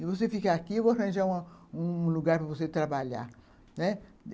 E você fica aqui, eu vou arranjar uma um lugar para você trabalhar, né